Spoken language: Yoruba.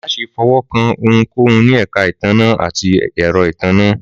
Má ṣe fọwọ̀kan ohunkóhun ní èka ìtanná àti èro ìtanná